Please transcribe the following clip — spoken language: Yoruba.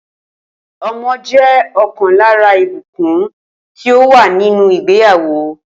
O̩mo̩ jé̩ o̩kàn lára ìbùkún tí ó wà nínú ìgbéyàwó